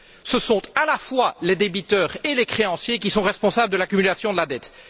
Ce sont à la fois les débiteurs et les créanciers qui sont responsables de l'accumulation de la dette.